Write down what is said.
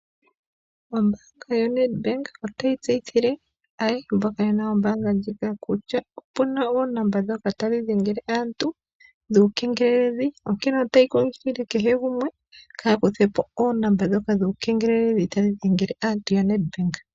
Ombaanga yo- Nedbank ayehe mboka yena ombaanga ndjika opuna oonomola ndhoka tadhi dhengele aantu dhuukengeleli onkene ota yi kunkilile aantu opo ka ya kuthepo oonomala ndhika tadhi kengelele aantu.